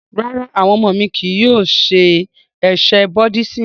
Rárá, awọn ọmọ mi kii yóò ṣe ẹsẹ̀ Búddisimù.